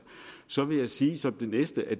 så vil jeg sige som det næste at